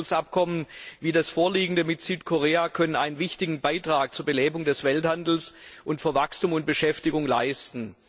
Freihandelsabkommen wie das vorliegende mit Südkorea können einen wichtigen Beitrag zur Belebung des Welthandels und zu Wachstum und Beschäftigung leisten.